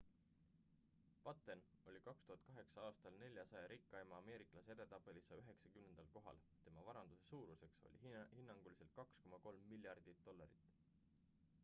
batten oli 2008 aastal 400 rikkaima ameeriklase edetabelis 190 kohal tema varanduse suuruseks oli hinnanguliselt 2,3 miljardit dollarit